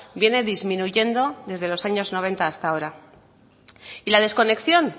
viene disminuyendo de los años noventa hasta ahora y la desconexión